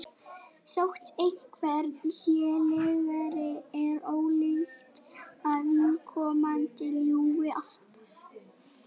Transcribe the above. þótt einhver sé lygari er ólíklegt að viðkomandi ljúgi alltaf